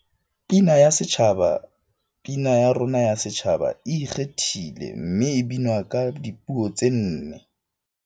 Pina ya Setjhaba Pina ya rona ya Setjhaba e ikgethile mme e binwa ka dipuo tse nne.